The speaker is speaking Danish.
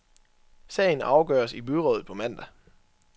Sagen afgøres i byrådet på mandag.